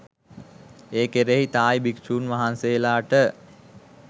ඒ කෙරෙහි තායි භික්ෂූන් වහන්සේලාට